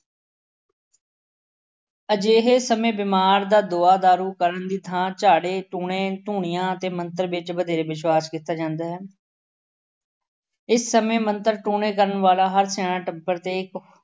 ਅਜਿਹੇ ਸਮੇਂ ਬਿਮਾਰ ਦਾ ਦਵਾ-ਦਾਰੂ ਕਰਨ ਦੀ ਥਾਂ ਝਾੜੇ, ਟੂਣੇ, ਧੂਣੀਆਂ ਅਤੇ ਮੰਤਰ ਵਿੱਚ ਵਧੇਰੇ ਵਿਸ਼ਵਾਸ਼ ਕੀਤਾ ਜਾਦਾ ਹੈ। ਇਸ ਸਮੇਂ ਮੰਤਰ ਟੂਣੇ ਕਰਨ ਵਾਲਾ ਹਰ ਸਿਆਣਾ ਟੱਬਰ ਦੇਖ